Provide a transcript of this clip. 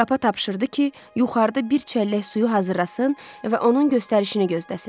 Kappa tapşırdı ki, yuxarıda bir çəllək suyu hazırlasın və onun göstərişini gözləsin.